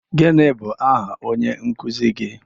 Gịnị bụ aha onye nkuzi gị?